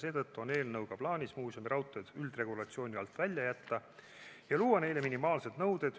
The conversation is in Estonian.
Seetõttu on eelnõuga plaanis muuseumiraudteed üldregulatsiooni alt välja jätta ja luua neile minimaalsed nõuded,